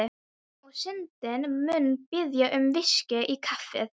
Og Syndin mun biðja um VISKÍ í kaffið.